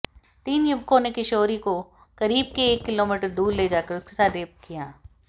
तीन युवकों ने किशोरी को करीब एक किलोमीटर दूर ले जाकर उसके साथ रेप किया